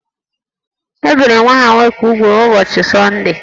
E biri nwa ha nwoke úgwù n’ụbọchị Sọndee